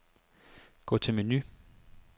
Gå til menu.